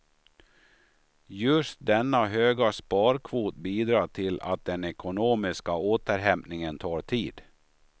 Just denna höga sparkvot bidrar till att den ekonomiska återhämtningen tar tid.